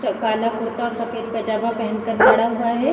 च काला कुर्ता और सफ़ेद पैजामा पहन कर खड़ा हुआ है।